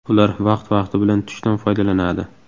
Ular vaqt-vaqti bilan tushdan foydalanadi.